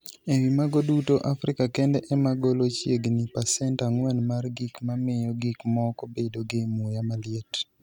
E wi mago duto, Afrika kende ema golo chiegni pasent 4 mar gik mamiyo gik moko bedo gi muya maliet.